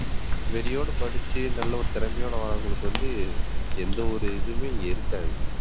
வெறியோடு படிச்சு நல்ல ஒரு திறமையோடு வர்றவங்களுக்கு வந்து எந்த ஒரு இதுவுமே இங்க இருக்காது